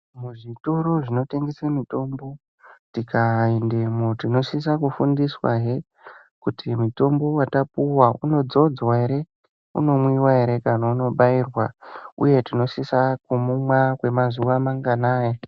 Muzvitoro zvinotengese mitombo, tikaendemo tinosisa kufundiswahe, kuti mutombo watapuwa unodzodzwa ere , unomwiwa ere, kana unobairwa, uye tinosisa kumumwa kwemazuwa manganai.